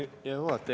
Hea juhataja!